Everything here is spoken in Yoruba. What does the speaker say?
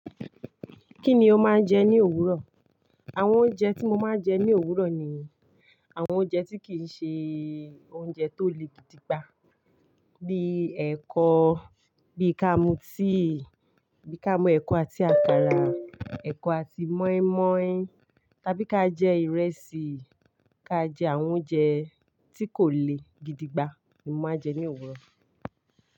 Kíni ó máa ń jẹ ní òwúrọ̀? Àwọn oúnjẹ tí mo máa ń jẹ ní òwúrọ̀ ni àwọn oúnjẹ tí kìí ṣe oúnjẹ tó le gidi gba. Bí ẹ̀kọ, bí ká mú tea, bí ká mú ẹ̀kọ àti àkàrà, ẹ̀kọ àti mọ́ímọ́í. Tàbí ká jẹ ìrẹsì, ká jẹ àwọn oúnjẹ tí kò le gidi gba ni mo máa ń jẹ ní òwúrọ̀.